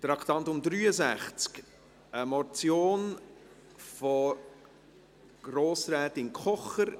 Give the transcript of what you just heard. Traktandum 63, eine Motion von Grossrätin Kocher: